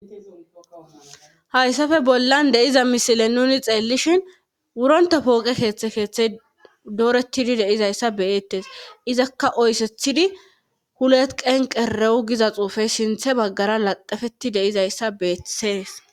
Hayssafe bollan deiza misile nuni xeellishin wuronta pooqe keeththe keeththey dooretidi deizayssa beyettes izakka oysethidi hulet qen qerewu giza xuufey sinthe baggara laqafeti deizayssa beetetees.